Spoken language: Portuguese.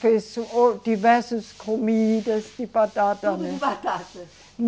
Fez diversas comidas de batata, né? Tudo de batata